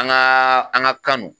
An gaa an ga kan no